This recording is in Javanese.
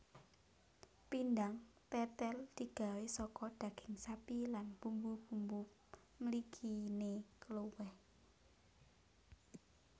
Pindang tètèl digawé saka daging sapi lan bumbu bumbu mliginé kluwek